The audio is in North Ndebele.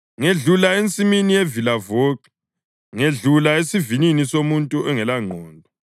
Ngedlula ensimini yevilavoxo, ngedlula esivinini somuntu ongelangqondo;